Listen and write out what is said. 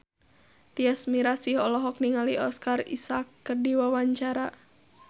Tyas Mirasih olohok ningali Oscar Isaac keur diwawancara